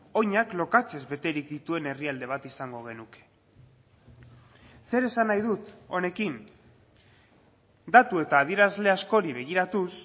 oinak lokatzez beterik dituen herrialde bat izango genuke zer esan nahi dut honekin datu eta adierazle askori begiratuz